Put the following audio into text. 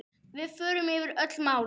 Við förum yfir öll mál.